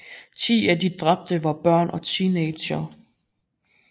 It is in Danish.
Ti af de dræbte var børn og teenagere